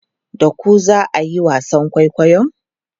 Da ku za a yi wasan kwaikwayon?